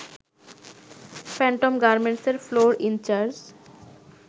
Phantom গার্মেন্টসের floor in charge